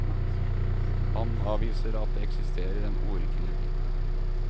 Han avviser at det eksisterer en ordkrig.